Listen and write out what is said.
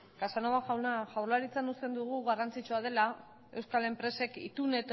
casanova jauna jaurlaritzan uste dugu garrantzitsua dela euskal enpresek itun